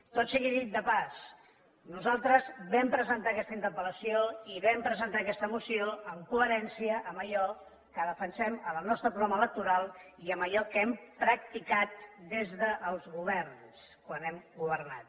tot sigui dit de pas nosaltres vam presentar aquesta interpel·lació i vam presentar aquesta moció en coherència amb allò que defensem en el nostre programa electoral i amb allò que hem practicat des dels governs quan hem governat